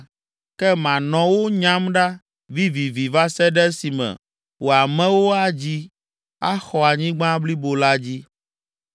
Ke manɔ wo nyam ɖa vivivi va se ɖe esime wò amewo adzi axɔ anyigba blibo la dzi.